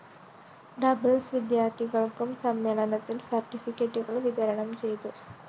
ഡബഌൂ വിദ്യാര്‍ത്ഥികള്‍ക്കും സമ്മേളനത്തില്‍ സര്‍ട്ടിഫിക്കറ്റുകള്‍ വിതരണം ചെയ്തു